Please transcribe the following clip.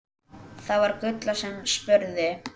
Það var Gulla sem spurði.